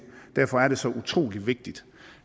derfor er det så utrolig vigtigt